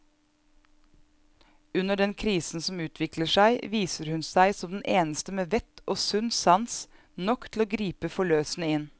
Under den krisen som utvikler seg, viser hun seg som den eneste med vett og sunn sans nok til å gripe forløsende inn.